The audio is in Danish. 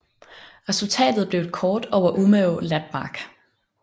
Resultatet blev et kort over Umeå lapmark